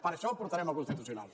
per això ho portarem al constitucional